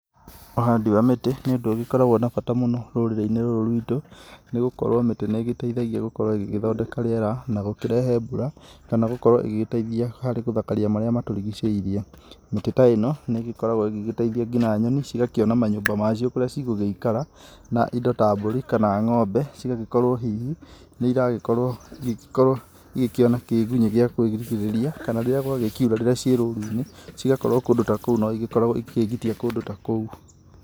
Ũhandi wa mĩtĩ nĩ ũndũ ũgĩkoragwo na bata mũno rũrĩrĩ-inĩ rũrũ rwitũ nĩ gũkorwo mĩtĩ nĩ ĩgĩteithagia gũkorwo ĩgĩthondeka rĩera na gũkĩrehe mbura, kana gũkorwo ĩgĩgĩteithia harĩ gũthakaria marĩa matũrigicĩirie, mĩtĩ ta ĩno nĩ ĩgĩkoragwo ĩgĩteithia nginya nyoni, cigakĩona manyũmba macio kũrĩa cigũgikara, na indo ta mbũri kana ng'ombe cigagĩkorwo hihi nĩ iragĩkorwo igĩkĩona kĩgunyĩ gĩa kwĩgitĩrĩria, kana rĩrĩa kwagĩkiura rĩrĩa ciĩ roru-inĩ, cigakorwo kũndũ ta kou no igĩkoragwo ĩgĩkĩgitia kũndũ ta kou.